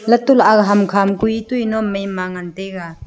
latu la aga ham kha ma koi toi na maima ngan taiga.